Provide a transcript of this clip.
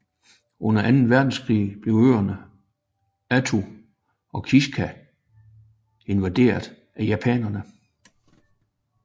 Under anden verdenskrig blev øerne Attu og Kiska invaderet af japanerne